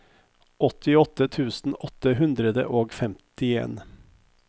åttiåtte tusen åtte hundre og femtien